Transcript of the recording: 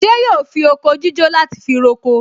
Ṣé yóò fi oko jíjó láti fi roko?